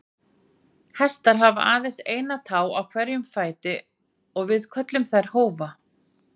Hestar hafa aðeins eina tá á hverjum fæti og við köllum þær hófa.